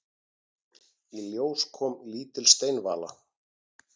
Í ljós kom lítil steinvala.